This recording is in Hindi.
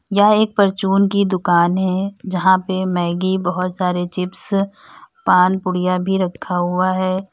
यह एक परचून की दुकान है यहां पे मैगी बहुत सारे चिप्स पान पुड़िया भी रखा हुआ है।